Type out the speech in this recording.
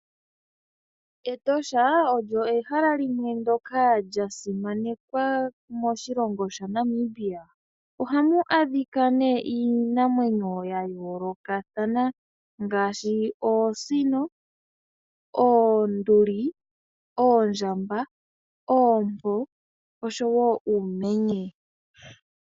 Etosha olyo ehala limwe lyoka lya simanekwa moshilongo shaNamibia, ohamu a dhika nee iinamwenyo ya yoolokathana ngaashi oosino, oonduli, oondjamba, oompo osho woo uumenye.